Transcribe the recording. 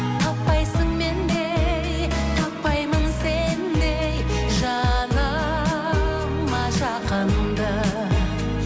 таппайсың мендей таппаймын сендей жаныма жақынды